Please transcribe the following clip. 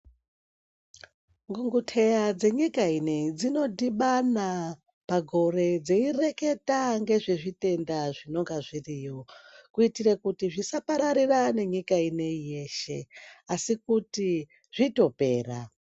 Ngunguteya dzenyika ineyi dzinodhibana pagore, dzeyireketa ngezvezvitenda zvinonga zviriyo, kuyitire kuti zvisapararira nenyika ineyi yeshe asi kuti zvitopera.